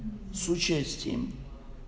с участием